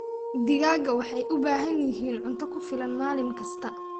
Digaagga waxay u baahan yihiin cunto ku filan maalin kasta.